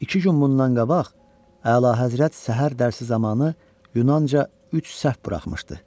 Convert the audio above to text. İki gün bundan qabaq Əlahəzrət səhər dərsi zamanı yunanca üç səhv buraxmışdı.